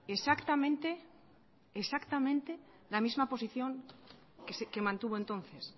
exactamente exactamente la misma posición que mantuvo entonces